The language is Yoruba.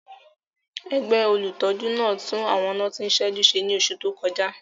Ẹgbẹ́ olùtọ́jú náà tún àwọn iná tí ń ṣẹ́jú ṣe ní oṣù tó kọjá